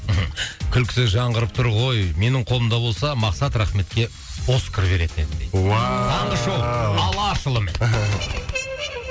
мхм күлкісі жаңғырып тұр ғой менің қолымда болса мақсат рахметке оскар беретін едім дейді уау таңғы шоу алашұлымен